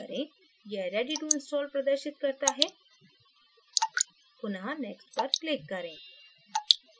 यह ready to install प्रदर्शित करता है पुनः next पर click करें